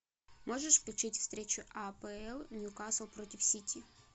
можешь включить встречу апл ньюкасл против сити